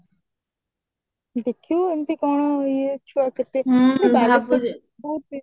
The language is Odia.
ଦେଖିବୁ ଏମିତି କଣ ଇଏ ଛୁଆ କେତେ ସବୁ ବାଲେଶ୍ବରରେ